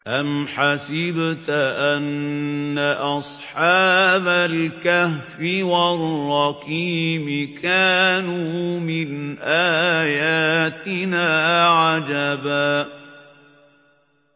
أَمْ حَسِبْتَ أَنَّ أَصْحَابَ الْكَهْفِ وَالرَّقِيمِ كَانُوا مِنْ آيَاتِنَا عَجَبًا